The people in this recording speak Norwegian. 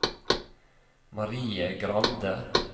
Marie Grande